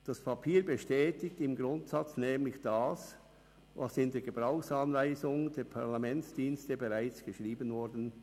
Das Papier bestätigt im Grundsatz nämlich das, was in der Gebrauchsanweisung der Parlamentsdienste bereits geschrieben wurde.